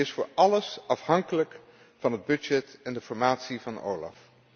Die is voor alles afhankelijk van het budget en de informatie van OLAF.